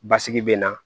Basigi bɛ na